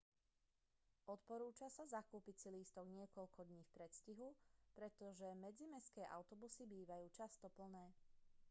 odporúča sa zakúpiť si lístok niekoľko dní v predstihu pretože medzimestské autobusy bývajú často plné